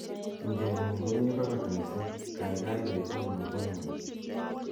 tugeng'ung komi barak missing gaigai wegun nombongweng'